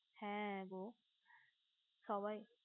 হে গো সবাই